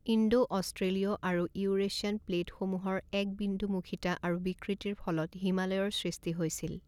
Indo অষ্ট্ৰেলীয় আৰু Eurasian প্লেটসমূহৰ একবিন্দুমুখিতা আৰু বিকৃতিৰ ফলত হিমালয়ৰ সৃষ্টি হৈছিল।